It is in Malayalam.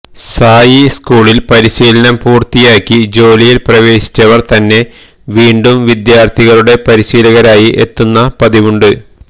സായി സ്കൂളില് പരിശീലനം പൂര്ത്തിയാക്കി ജോലിയില് പ്രവേശിച്ചവര് തന്നെ വീണ്ടും വിദ്യാര്ഥികളുടെ പരിശീലകരായി എത്തുന്ന പതിവുണ്ട്